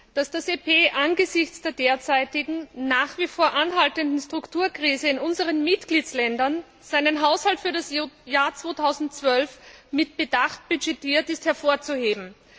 Dass das EP angesichts der derzeitigen, nach wie vor anhaltenden Strukturkrise in unseren Mitgliedstaaten seinen Haushalt für das Jahr 2012 mit Bedacht budgetiert, ist hervorzuheben.